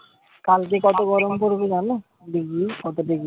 কালকে কত গরম পড়েছে জানো degree কত degree?